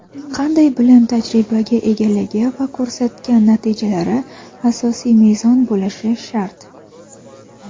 qanday bilim-tajribaga egaligi va ko‘rsatgan natijalari asosiy mezon bo‘lishi shart.